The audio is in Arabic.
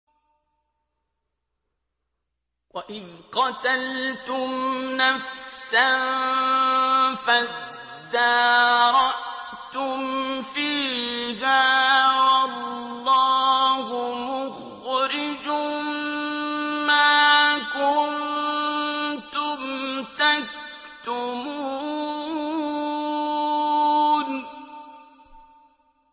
وَإِذْ قَتَلْتُمْ نَفْسًا فَادَّارَأْتُمْ فِيهَا ۖ وَاللَّهُ مُخْرِجٌ مَّا كُنتُمْ تَكْتُمُونَ